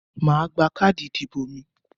mà á gba káàdì ìdìbò mi.